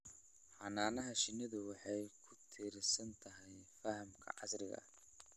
Xannaanada shinnidu waxay ku tiirsan tahay fahamka casriga ah.